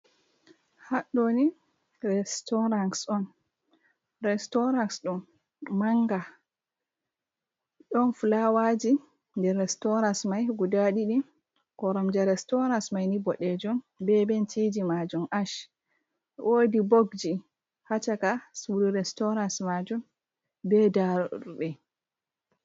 Haɗo ni restorans on restorans ɗo manga don fulaawaji nder restorans mai guda ɗiɗi koromje restorans mai ni ɓoɗejum ɓe benchiji majum ash wodi ɓobs ji ha chaka sudu restorans majum be daroɗe.